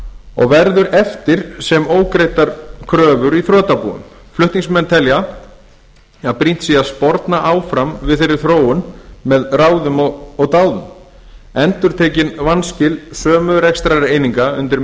og verður eftir sem ógreiddar kröfur í þrotabúið flutningsmenn telja brýnt að sporna áfram gegn þeirri þróun með ráðum og dáð endurtekin vanskil sömu rekstrareininga undir